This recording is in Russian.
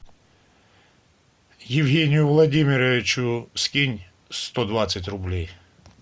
евгению владимировичу скинь сто двадцать рублей